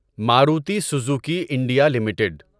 Maruti Suzuki India limited